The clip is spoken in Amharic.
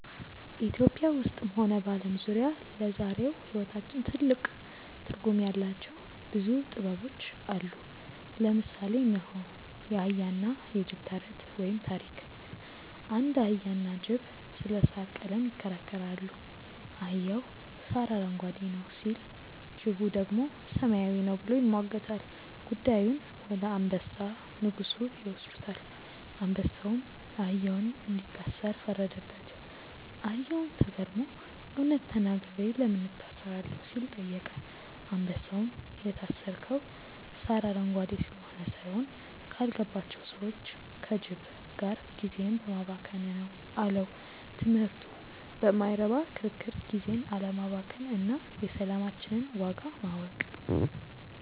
ኢትዮጵያ ውስጥም ሆነ በዓለም ዙሪያ ለዛሬው ሕይወታችን ትልቅ ትርጉም ያላቸው ብዙ ጥበቦች አሉ። ለምሳሌ እነሆ፦ የአህያና የጅብ ተረት (ታሪክ) አንድ አህያና ጅብ ስለ ሣር ቀለም ይከራከራሉ። አህያው "ሣር አረንጓዴ ነው" ሲል፣ ጅቡ ደግሞ "ሰማያዊ ነው" ብሎ ይሟገታል። ጉዳዩን ወደ አንበሳ (ንጉሡ) ይወስዱታል። አንበሳውም አህያውን እንዲታሰር ፈረደበት። አህያውም ተገርሞ "እውነት ተናግሬ ለምን እታሰራለሁ?" ሲል ጠየቀ። አንበሳውም "የታሰርከው ሣር አረንጓዴ ስለሆነ ሳይሆን፣ ካልገባቸው ሰዎች (ከጅብ) ጋር ጊዜህን በማባከንህ ነው" አለው። ትምህርቱ በማይረባ ክርክር ጊዜን አለማባከን እና የሰላማችንን ዋጋ ማወቅ።